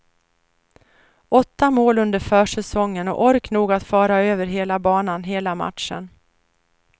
Åtta mål under försäsongen och ork nog att fara över hela banan hela matchen.